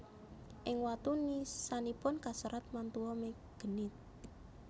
Ing watu nisanipun kaserat Mantua me genuit